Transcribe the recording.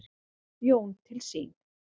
Jón til sín.